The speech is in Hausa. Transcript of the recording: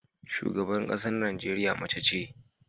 Shugaban ƙasar Najeriya mace ce.